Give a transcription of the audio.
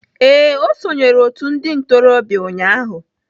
Ee, o sonyeere otu ndị ntorobịa ụnyahụ.